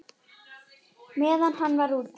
Meðan hann var úti?